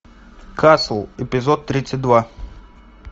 касл эпизод тридцать два